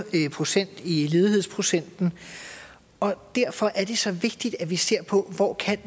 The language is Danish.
procent i ledighedsprocent og derfor er det så vigtigt at vi ser på hvor